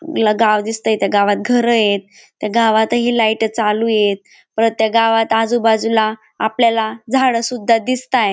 मला गाव दिसतंय त्या गावात घर येत त्या गावातही लईट चालू येत परत त्या गावात आजूबाजूला आपल्याला झाड सुद्धा दिसताय.